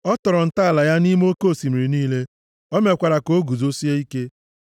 Ọ tọrọ ntọala ya nʼime oke osimiri niile, o mekwara ka o guzosie ike.